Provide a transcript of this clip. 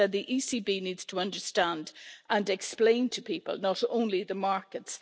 You said the ECB needs to understand and explain to people not only the markets.